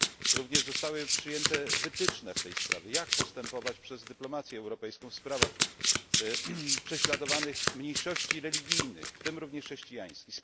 Zostały również przyjęte wytyczne w tej sprawie, jak postępować przez dyplomację europejską w sprawach prześladowanych mniejszości religijnych, w tym również chrześcijańskiej.